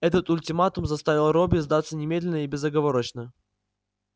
этот ультиматум заставил робби сдаться немедленно и безоговорочно